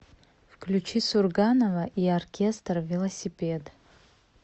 включи сурганова и оркестр велосипед